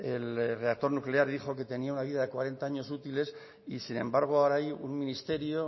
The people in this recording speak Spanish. el reactor nuclear y dijo que tenía una vida de cuarenta años útiles y sin embargo ahora hay un ministerio